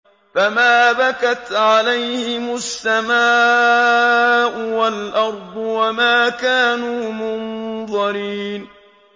فَمَا بَكَتْ عَلَيْهِمُ السَّمَاءُ وَالْأَرْضُ وَمَا كَانُوا مُنظَرِينَ